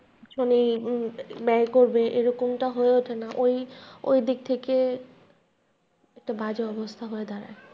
দুজনেই ব্যয় করবে এরকমটা হয়ে ওঠেনা ওই ওই দিক থেকে একটা বাজে অবস্থা হয়ে দাঁড়ায়।